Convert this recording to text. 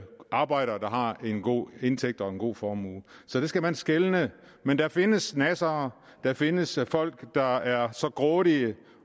arbejdere der har en god indtægt og en god formue så der skal man skelne men der findes nassere der findes folk der er så grådige